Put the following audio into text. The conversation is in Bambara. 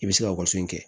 I bɛ se ka waso in kɛ